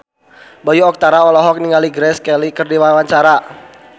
Bayu Octara olohok ningali Grace Kelly keur diwawancara